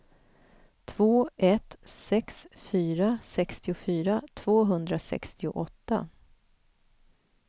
två ett sex fyra sextiofyra tvåhundrasextioåtta